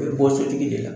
U bɛ bɔ sotigi de la